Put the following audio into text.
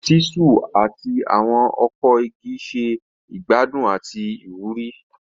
Ṣiṣu ati awọn ọkọ igi ṣe igbadun ati iwuri.